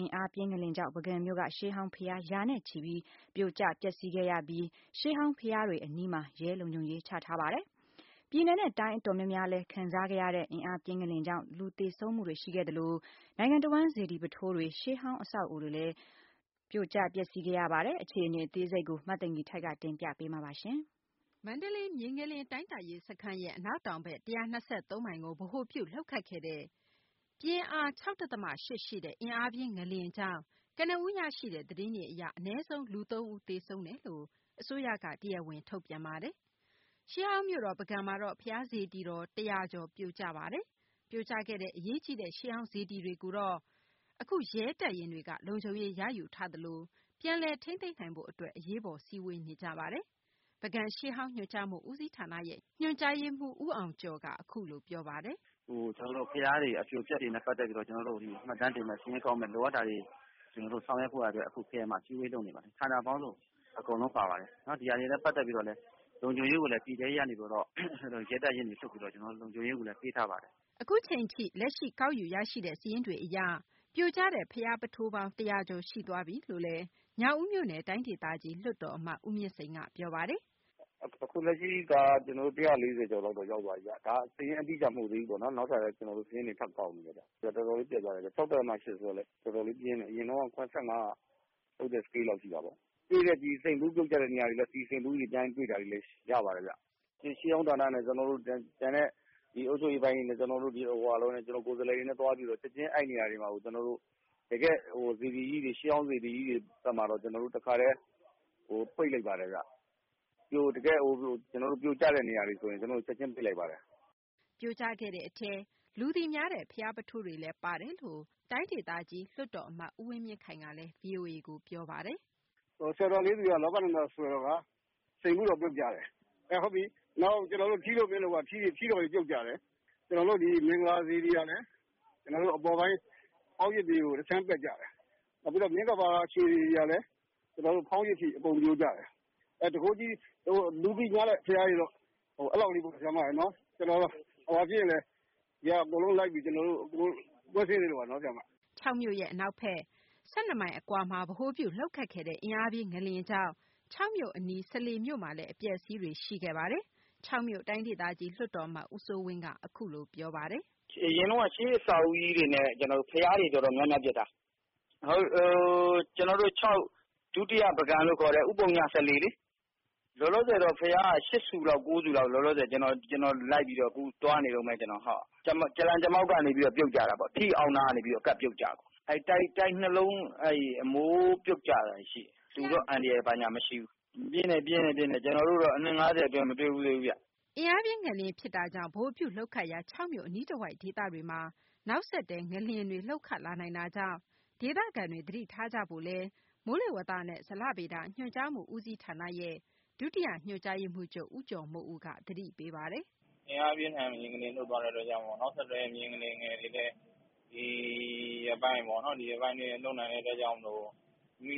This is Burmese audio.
အင်အားပြင်း ငလျင်လှုပ်ခတ်ခဲ့တာကြောင့် ပုဂံမြို့က ရှေးဟောင်း ဘုရား ရာနဲ့ချီပြီး ပြိုကျ ပျက်ဆီးခဲ့ပြီး ရှေးဟောင်း ဘုရားတွေ အနီးမှာ ရဲလုံခြုံရေး ချထားပါတယ်။ ပြည်နယ်နဲ့ တိုင်းအတော်များများလည်း ခံစားခဲ့ရတဲ့ အင်အားပြင်း ငလျင်ကြောင့် လူသေဆုံးမှုတွေရှိခဲ့သလို နိုင်ငံတဝန်း စေတီပုထိုးတွေ၊ ရှေးဟောင်း အဆောက်အအုံတွေလည်း ပြိုကျ ပျက်ဆီးခဲ့ရပါတယ်။ အခြေအနေ အသေးစိတ်ကို မသိင်္ဂ ီထိုက် တင်ပြပေးမှာပါ။ မန္တလေး မြေငလျင် တိုင်းတာရေး စခန်းရဲ့ အနောက်တောင်ဘက် ၁၂၃ မိုင်ကို ဗဟိုပြုပြီး လှုပ်ခတ်ခဲ့တဲ့ အင်အား ၆ ဒသမ ၈ ရှိတဲ့ အင်အားပြင်း ငလျင်ကြောင့် ကနဦး ရရှိတဲ့ သတင်းတွေ အရ အနည်းဆုံး လူ ၃ ဦး သေဆုံးတယ်လို့ အစိုးရက တရားဝင် ထုတ်ပြန်ထားပါတယ်။ ရှေးဟောင်းမြို့တော် ပုဂံမှာ ဘုရားစေတီတော် ၁၀၀ ကျော် ပြိုကျခဲ့ပါတယ်။ ပြိုကျခဲ့တဲ့ အရေးကြီးတဲ့ ရှေးဟောင်း စေတီတွေကို အခုတော့ ရဲတပ်ရင်းတွေက လုံခြုံရေးရယူထားသလို ပြန်လည်ထိန်းသိမ်းရေး အတွက် အရေးပေါ်စည်းဝေးနေကြပါတယ်။ ပုဂံ ရှေးဟောင်းညွှန်ကြားမှု ဦးစီးဌာန ညွှန်ကြားရေးမှူး ဦးအောင်ကျော်က အခုလို ပြောပါတယ်။ “ ဘုရား အပြိုအပျက်တွေနဲ့ ပတ်သက်ပြီး မှတ်တမ်းတင်မယ်၊ စာရင်းကောက်မယ်၊ လိုအပ်တာတွေ ဆောင်ရွက်ဖို့ရာ အတွက် အခု အစည်းအဝေး လုပ်နေပါတယ်။ ဌာနပေါင်းစုံ အကုန်လုံးပါပါတယ်။ ဒီဟာတွေနဲ့ ပတ်သက်ပြီးတော့လည်း လုံခြုံရေးကိုလည်း ပြည်ထဲရေးက ရဲတပ်ရင်းတွေနဲ့ လုံခြုံရေးကိုလည်း ပေးထားပါတယ်။” အခုအချိန်ထိ လက်ရှိ ကောက်ယူရရှိတဲ့ စာရင်းဇယားတွေ အရ ပြိုကျတဲ့ ဘုရားပုထိုးပေါင်း ၁၀၀ ကျော် ရှိသွားပြီလို့လည်း ညောင်ဦးမြို့နယ် တိုင်းဒေသကြီး လွှွတ်တော် အမတ် ဦးမြင့်စိန်က ပြောပါတယ်။ “အခုလက်ရှိက ကျနော်တို့ ၁၄၀ ကျော်လောက် ရောက်သွားပြီဗျ။ ဒါ စာရင်းအတိအကျ မဟုတ်သေးဘူးဗျ။ နောက်ထပ်လည်း ကျနော်တို့ စာရင်းတွေ ထပ်ကောက်နေတယ်။ တော်တော်လေး ပျက်သွားတယ်ဗျ။ ၆ ဒသမ ၈ ဆိုတော့ တော်တော်လေး ပြင်းတယ်ဗျ။ အရင်တုန်းက ၇၅ က လှုပ်တဲ့ စကေးလောက် ရှိတာပေါ့။ စိန်ဖူးပြုတ်ကျတဲ့ နေရာတွေကနေ စိန်ဖူး ပြန်ရတာတွေလည်း ရှိပါတယ်ဗျ။ ရှေးဟောင်းဌာနနဲ့ ကျနော်တို့ အုပ်ချုပ်ရေးပိုင်းနဲ့ ကျနော်တို့ ကိုယ်စားလှယ်တွေနဲ့ ချက်ချင်း အဲဒီနေရာတွေမှာကို တကယ့် စေတီကြီးတွေ ရှေးဟောင်း စေတီကြီးတွေမှာတော့ ကျနော်တို့ တခါတည်း ပိတ်လိုက်ပါတယ်ဗျ။ ပြိုကျတဲ့ နေရာတွေကို ကျနော်တို့ ချက်ချင်း ပိတ်လိုက်ပါတယ်။” ပြိုကျခဲ့တဲ့ အထဲ လူသိများတဲ့ ဘုရားပုထိုးတွေလည်း ပါတယ်လို့ ညောင်ဦး လွှတ်တော် အမတ် ဦးဝင်းမြင့်ခိုင်က ဗွီအိုအေကို ပြောပါတယ်။ “ စွယ်တော် လေးဆူက လောကနန္ဒာ ဆွယ်တော်က စိန်ဖူးတော် ပြုတ်ကျတယ်။ ထီးလိုမင်းလိုက ထီးတော်တွေ ပြုတ်ကျတယ်။ မင်္ဂလာစေတီကလည်း ကျနော်တို့ အပေါ်ပိုင်း ဖောင်းရစ်တွေက တခြမ်း ပြုတ်ကျတယ်။ မြင်းကပါ စေတီကလည်း ဖောင်းရစ်တွေ အကုန်ပြိုကျတယ်။ လူသိများတဲ့ ဘုရားတွေကတော့ အဲလောက်ဘဲပေါ့နော်။ ကျနော်တို့ အကုန်လိုက်ပြီး ကွင်းဆင်နေပါတယ်။ ” ချောက်မြို့ရဲ့ အနောက်ဘက် ၁၂ မိုင် အကွာမှာ ဗဟိုပြု လှုပ်ခတ်ခဲ့တဲ့ အင်အားပြင်း ငလျင်ကြောင့် ချောက်မြို့ အနီးမှာ စလေမြို့မှာလည်း အပျက်အစီးတွေ ရှိခဲ့တယ်လို့ ချောက်မြို့ တိုင်းဒေသကြီး လွှတ်တော် အမတ် ဦးစိုးဝင်းက ဗွီအိုအေကို အခုလို ပြောပါတယ်။ “ ကျနော်တို့ ရှေးအဆောက်အအုံတွေနဲ့ ဘုရားတွေ တော်တော်များများ ပျက်တာ။ ကျနော်တို့ ချောက် - ဒုတိယ ပုဂံလို့ ခေါ်တဲ့ ဦးပုည စလေလေ။ လောလောဆယ် ဘုရားက ၈ ဆူ ၊ ၉ ဆူလောက် လောလောဆယ် ကျနော် လိုက်ပြီးတော့ သွားနေတုန်းဘဲ။ ကြာလှန် ကြာမှောက်ကနေ ပြီးတော့ ပြုတ်ကျတာပေါ့။ ထီးတော် အောက်နားကနေ ကပ်ပြီး ပြုတ်ကျတာပေါ့။ တိုက် ၂ လုံး အမိုး ပြုတ်ကျတာ ရှိတယ်။ လူတော့ အန္တရာယ် မရှိဘူး။ အင်းအားကတော့ ပြင်းတယ်။ ကျနော်တို့ အနှစ် ၅၀ အတွင်း မတွေ့ဘူးသေးဘူးဗျ။ ” အင်အားပြင်း ငလျင်ဖြစ်တာကြောင့် ဗဟိုပြု လှုပ်ခတ်ရာ ချောက်မြို့ အနီးတဝိုက်ဒေသတွေမှာ နောက်ဆက်တွဲ ငလျင်တွေ လှုပ်ခတ်လာနိုင်တာကြောင့်ဒေသခံတွေ သတိထားကြဖို့လည်း မိုးလေဝသနဲ့ ဇလဗေဒ ညွှန်ကြားမှု ဦးစီးဌာနရဲ့ ဒုတိယ ညွှန်ကြားရေးမှူးချုပ် ဦးကျော်မိုးဦးက ပြောပါတယ်။ “ အင်အား ပြင်းထန်တဲ့ ငလျင်လှုပ်ခတ်တာကြောင့် နောက်ဆက်တွဲ ငလျင်တွေလည်း ဒီရက်ပိုင်း အတွင်း လှုပ်နိုင်တဲ့ အတွက်ကြောင့်မို့